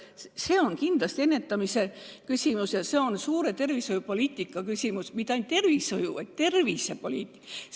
See on kindlasti ennetamise küsimus, see on suure tervishoiupoliitika küsimus – mitte ainult tervishoiu-, vaid tervisepoliitka küsimus.